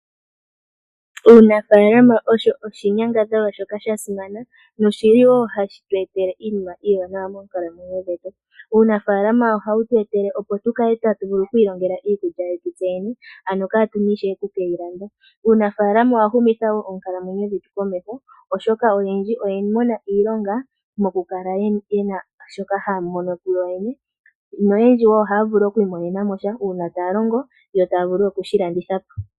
Uunafaalama osho oshinyangadhalwa shoka shasimana noshili wo hashitu etele iinima iiwanawa moonkalamwenyo dhetu. Uunafaalama ohawu tu etele opo tatu vulu okwiilongela iikulya yetu tseyene, ano katuna ishewe okukeyi landa. Uunafaalama owahumitha wo oonkalamwenyo dhetu komeho oshoka oyendji oya mona iilonga mokukala yena shoka haya mono kuyoyene, noyendji wo ohaya vulu okwiimonena mo sha uuna taya longo to taya vulu okushilanditha po.